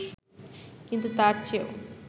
কিন্তু তার চেয়েও